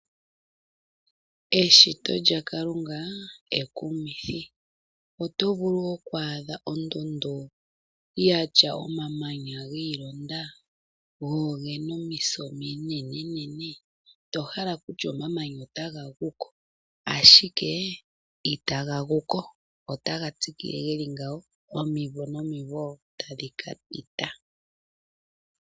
Eshito lya Kalunga ekumithi oto vulu oku adha ondundu ya tya omamanya gi i londa go ogena omisa ominenene tohala okutya omamanya ota ga guko ashike I ta ga guko. Ota ga tsikile geli ngawo omimvo nomimvo tadhi kapita.